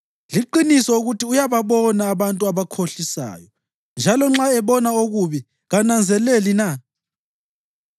Liqiniso ukuthi uyababona abantu abakhohlisayo; njalo nxa ebona okubi, kananzeleli na?